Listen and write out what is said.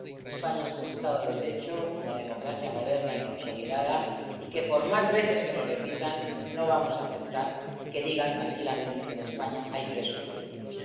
España es un Estado de Derecho, una democracia moderna y consolidada, y, por más veces que lo repitan, no vamos a aceptar que digan tranquilamente que en España hay presos políticos.